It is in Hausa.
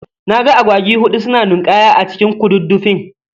Naga Agwagi huɗu suna nin'kaya a cikin ƙududdufin.